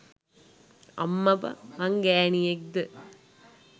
අම්මපා මං ගෑණියෙක්ද?